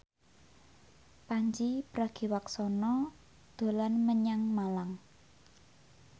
Pandji Pragiwaksono dolan menyang Malang